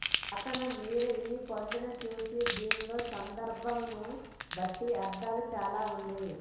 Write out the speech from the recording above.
అతను మీరు ఈ పండు చూసిన దీనిలో సందర్భమును బట్టి అర్థాలు చాలా ఉంది